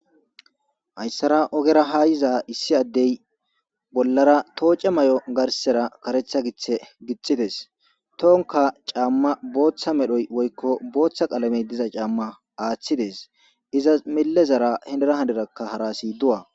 Hayssara ogera hayiza issi addey bollara tooce may'o garsera karetha githe gixides tohonka caamma booththa medhoy woykko booththa qalamey diza caamma aaththides izas mille zara hedera hadirakka harasi du'a.